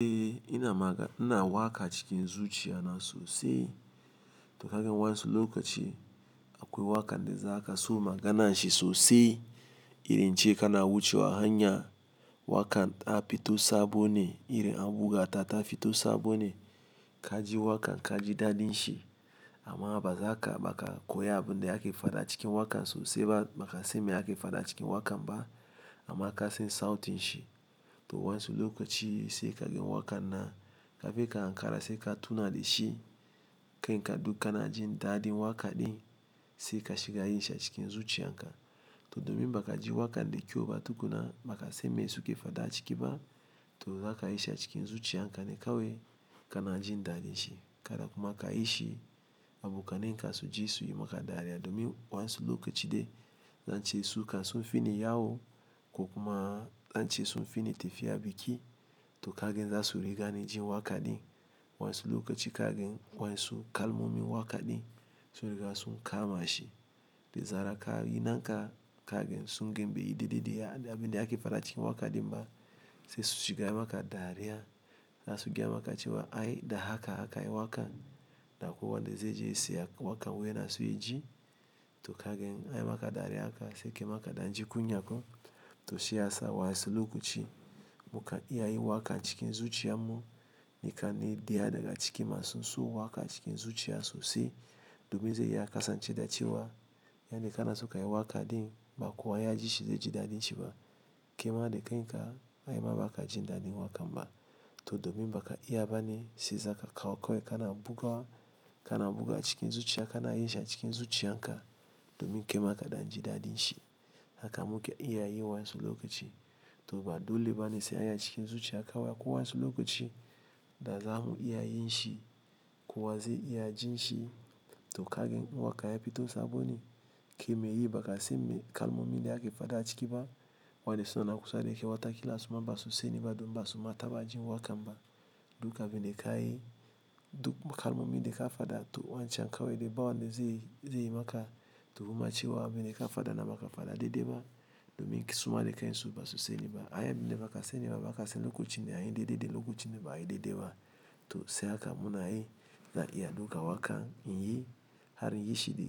Eh, ina waka cikin zuciya na sosai. To kagan wansu lokaci, akwai wakan da zaka so maganan shi sosai. Irin ince ka na wuce wa hanya, waka ta fito sabone, iri an buga ta ta fito sabone. Ka ji wakan ka ji daɗin shi amma ba za ka baka koya abin de ake faɗa cikin wakan sosai ba. Baka san me ake faɗa cikin wakan ba amma ka san sautin shi. To wa su lokaci sai kagan wakan nan, kafin ka ankara sai ka tuna dashi. Kanka kana jin daɗin waka ɗin, sai ka shiga yin shi a cikin zuciyan ka. To domin ba ka ji wakan de kyau ba tukuna baka san me suke faɗa a ciki ba. To za ka yi shi a cikin zuciyanka ne kawai ka na jin daɗin shi. Kada kuma kayishi abokanan ka su ji su yi maka dariya domin wa su lokaci de zance sukan sun fi ni yawo, ko kuma zance su sun fi ni tafiya biki. To kagan za su rigani jin waka ɗin. Wayansu lokaci kagan wayansu kalmomi waka ɗin, sun riga sun kama shi. De zarar ka yi na ka sungani baiyi daidai da abin de ake faɗa cikin waka ɗin ba, sai su shiga yi maka dariya. Za su gaya maka cewa ai da haka aka yi wa ka. Da akwai wanda zai je ya siya wakan wai yana so ya ji? To kagan anyi maka dariya haka sai kai ma kadan ji kunya ko. To shiyasa wasu lokaci mukan iya yin waka cikin zuciya mu. Ni kam ina da daga cikin masu son waka a cikin zuciya sosai. Domin ze iya kasance da cewa, yanda kake so kayi waka ɗin, ba kowa ya ji shi ze ji daɗin shi ba. Kaima da ka, ai ma ba ka jin daɗin wakan ba. To domin ba ka iya ba ne sai zaka kawo kawai ka na buga, ka na buga cikin zuciya kana yin shi a cikin zuciyanka. Domin kai ma kadan ji daɗin shi. Haka muka iya yi wasu lokaci. To ba dole ba ne sai a yi a cikin zuciya kawai ko wansu lokaci da za mu iya yin shi ko wa zai iya jin shi. To kagani in waka ya fito sabo ne. Ke mai yi ba ka sai mai kalmomi de ake faɗa a ciki ba. Wayanda suna nan kusa da kai, wata kila suma basu sani ba domin ba su ma ta ba jin wa kan ba. Duk abin de ka yi, duk kalmomi de ka faɗa to wancan kawai de ba wanda zai, zai yi maka. To kuma cewa abin de ka faɗa na maka faɗa daidai ba. Domin suma da kansu basu sani ba. A yarda ba ka sani ba, ba ka sanin lokacin da anyi daidai da lokacin da ba'ayi daidai ba. To sai haka muna yi zan iya dauka waka in yi, har in yi shi da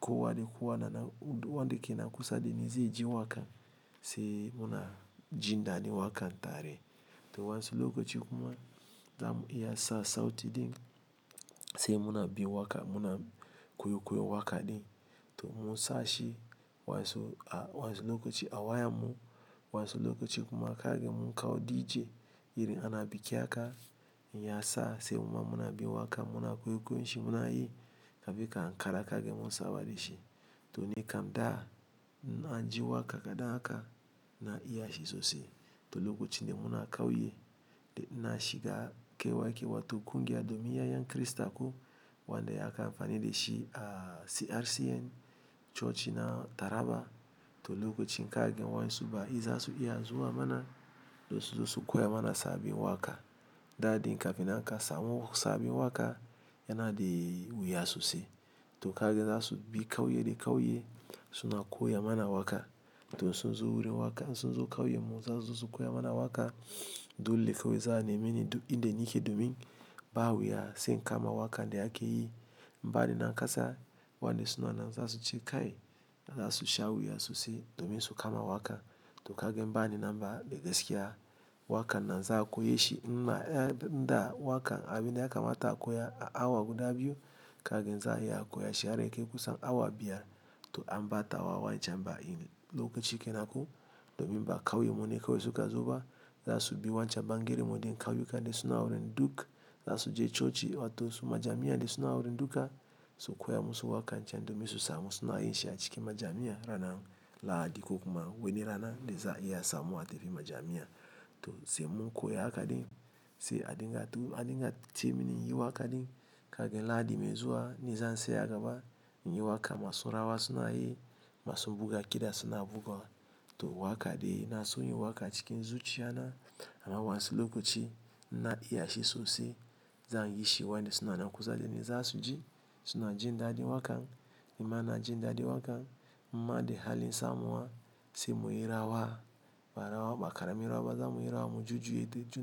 kowa da kowa na nan, wanda ke nan kusa da ni zai ji wakan, sai muna jin daɗin wakan tare. To wansu lokaci kuma, za mu iya sa sauti din sai muna bin wakan, muna kwai-kwayon waka ɗin. To mu-sa shi wansu a wansu lokaci a wayan mu. Wansu lokaci kuma kagan mun kawo DJ, irin ana biki haka, in ya sa sai muma muna bin waka muna kwai-kwayonshi muna yi. Kafin ka ankara kagan mun saba da shi. To nikam da, in na ji waka kaɗan haka na iya shi sosai. To lokacin da muna kauye, da na shiga kai wake wato kungiya domin ya'yan Kirista ko wanda aka amfani da shi a CRCN cocina Taraba. To lokacin kagan wansu baki zasu iya zuwa mana, domin suzo su koya mana sabbin waka. Daɗin ka fi nan ka samo sabbin waka, yana da wuya sosai. To kagan za su bi kauye da kauye suna koya mana waka. To in sun zo wurin waka, in sun zo kauyen mu, za suzo su koya mana waka, dole kawai za'a nemini duk inda nake. Domin ba wuya sai in kama waka de akeyi. Bani nan kasa wanda suna nan za suce. Za su sha wuya sosai domin su kama waka. To kagan, in bani nan ba, dagaskiya wakan na za'a koye shi. Nma eh da wakan abi ne da yakama a koya a awa guda biyu, kagan za'a iya a koye shi har yakai kusan awa biyar. To an bata wa wancan baki ne lokaci kenan ko? Domin ba kauyen mu ne kawai suka zo ba. Za su bi wancan bangere wurin kauyuka da suna wurin duk. Za su je coci wato su majami'a da suna wurin duka. Su koya musu wakan can domin su samu suna yin shi a cikin majami'a ranar Lahadi ko kuma wani rana de za'a iya samu a tafi majami'a. To sai mun koya haka din, sai a dinga tu-- a dinga ce mini in yi waka ɗin kagan Lahadi mai zuwa ni zan tsaya agaba in yi waka masu rawa suna yi, masu buga kiɗa suna bugawa. To waka dai na son yin waka cikin zuciya na, amma wansu lokaci na iya shi sosai. Zanyi shi wayanda suna kusa da ni za su ji suna jin daɗin wakan. Ni ma ina jin daɗin wakan. In ma de halin samuwa sai mu yi rawa ba rawa ba karamin rawa za mu yi rawa mu jujuye de.